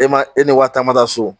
E ma e ni wari ta ma taa so